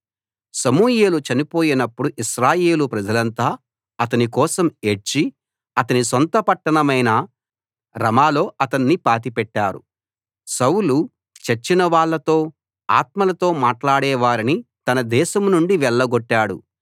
సమూయేలు చనిపోయినపుడు ఇశ్రాయేలు ప్రజలంతా అతని కోసం ఏడ్చి అతని సొంత పట్టణమైన రమాలో అతణ్ణి పాతిపెట్టారు సౌలు చచ్చినవాళ్ళతో ఆత్మలతో మాట్లాడేవారిని తన దేశం నుండి వెళ్లగొట్టాడు